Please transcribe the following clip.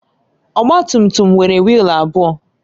Ọgbatumtum nwere wiil abụọ.